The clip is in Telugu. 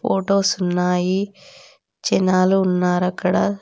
ఫొటోస్ ఉన్నాయి. జనాలు ఉన్నారు అక్కడ.